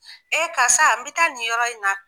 Ee karisa n be taa nin yɔrɔ in na